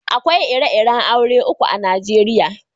Akwai ire-iren aure uku a'Nijeriya.